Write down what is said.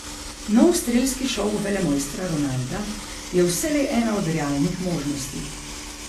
Nov strelski šov velemojstra Ronalda je vselej ena od realnih možnosti.